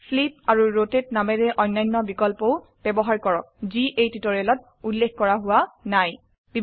flip আৰু rotate নামেৰে অন্যান্য বিকল্পও ব্যবহাৰ কৰক যি এই টিউটোৰিয়ালত উল্লেখ কৰা হোৱা নাই